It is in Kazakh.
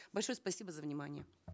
большое спасибо за внимание